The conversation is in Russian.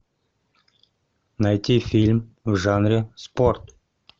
найти фильм в жанре спорт